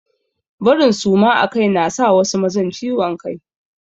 Barin suma akai na sa wasu mazan ciwon kai.